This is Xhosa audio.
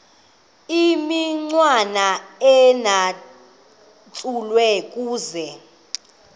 imicwana ecatshulwe kuzo